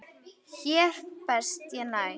Hér best ég næ.